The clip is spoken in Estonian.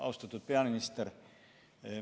Austatud peaminister!